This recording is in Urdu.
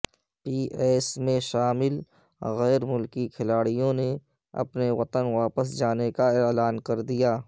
پی ایس میں شامل غیر ملکی کھلاڑیوں نے اپنے وطن واپس جانے کا اعلان کردیا